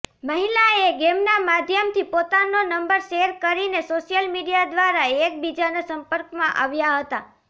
મહિલાએ ગેમના માધ્યમથી પોતાનો નંબર શેર કરીને સોશ્યલ મીડિયા દ્વારા એક બીજાના સંપર્કમાં આવ્યા હતા